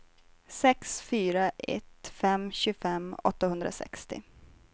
sex fyra ett fem tjugofem åttahundrasextio